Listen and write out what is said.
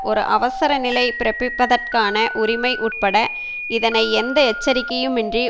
ஒரு அவசர நிலை பிறப்பிப்பதற்கான உரிமை உட்பட இதனை எந்த எச்சரிக்கையும் இன்றி